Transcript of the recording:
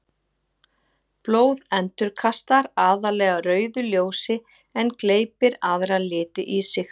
Blóð endurkastar aðallega rauðu ljósi en gleypir aðra liti í sig.